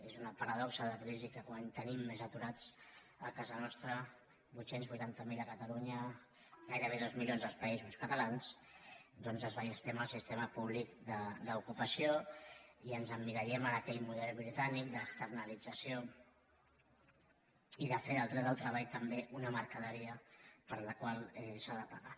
és una paradoxa de la crisi que quan tenim més aturats a casa nostra vuit cents i vuitanta miler a catalunya gairebé dos milions als països catalans doncs desballestem el sistema públic d’ocupació i ens emmirallem en aquell model britànic d’externalització i de fer del dret al treball també una mercaderia per la qual s’ha de pagar